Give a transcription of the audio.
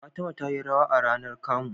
Fatima tayi rawa rAnar kamu